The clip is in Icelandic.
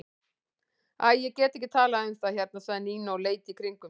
Æ, ég get ekki talað um það hérna sagði Nína og leit í kringum sig.